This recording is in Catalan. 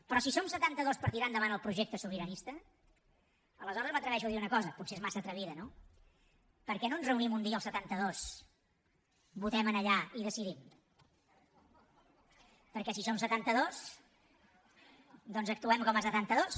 però si som setantados per tirar endavant el projecte sobiranista aleshores m’atreveixo a dir una cosa potser és massa atrevida no per què no ens reunim un dia els setantados votem en allà i decidim perquè si som setantados doncs actuem com a setantados